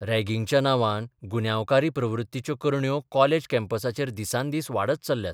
रॅगिंगाच्या नांवान गुन्यांवकारी प्रवृत्तीच्यो करण्यो कॉलेज कॅम्पसांचेर दिसान दीस वाडत चल्ल्यात.